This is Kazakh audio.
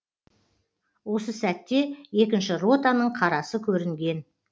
осы сәтте екінші ротаның қарасы көрінген